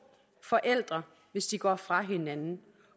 forældre hvis de går fra hinanden